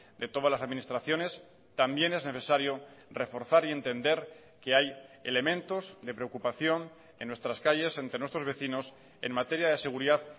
de todas las administraciones también es necesario reforzar y entender que hay elementos de preocupación en nuestras calles entre nuestros vecinos en materia de seguridad